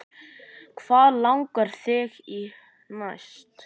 Hvað langar þig í næst?